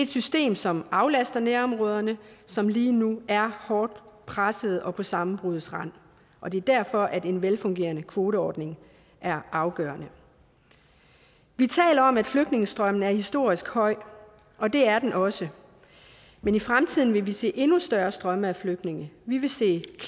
system som aflaster nærområderne som lige nu er hårdt pressede og på sammenbruddets rand og det er derfor at en velfungerende kvoteordning er afgørende vi taler om at flygtningestrømmen er historisk høj og det er den også men i fremtiden vil vi se endnu større strømme af flygtninge vi vil se en